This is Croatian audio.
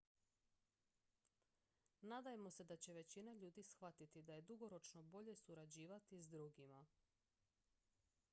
nadajmo se da će većina ljudi shvatiti da je dugoročno bolje surađivati s drugima